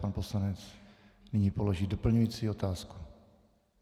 Pan poslanec nyní položí doplňující otázku.